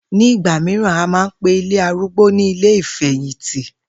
Nígbà mìíràn, a máa ń pe ilé arúgbó ní ilé ìfè̩yìntì